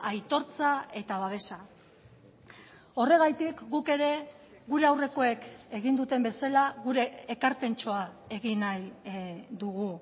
aitortza eta babesa horregatik guk ere gure aurrekoek egin duten bezala gure ekarpentxoa egin nahi dugu